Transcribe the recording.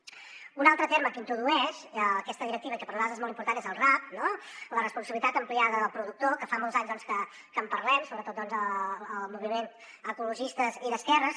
un altre terme que introdueix aquesta directiva que per a nosaltres és molt important és el rap no la responsabilitat ampliada del productor que fa molts anys que en parlem sobretot els moviments ecologistes i d’esquerres